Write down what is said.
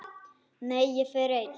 Nei, ég fer einn!